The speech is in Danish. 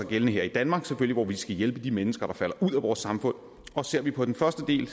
gældende her i danmark hvor vi skal hjælpe de mennesker der falder ud af vores samfund og ser vi på den første del